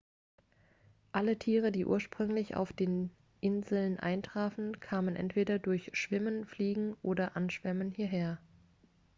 alle tiere die ursprünglich auf den inseln eintrafen kamen entweder durch schwimmen fliegen oder anschwemmen hierher